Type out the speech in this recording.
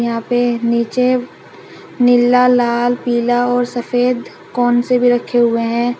यहां पे नीचे नीला लाल पीला और सफेद कोन से भी रखे हुए हैं।